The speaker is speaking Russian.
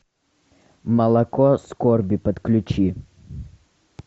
молоко скорби подключи